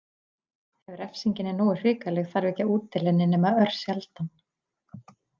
Ef refsingin er nógu hrikaleg þarf ekki að útdeila henni nema örsjaldan.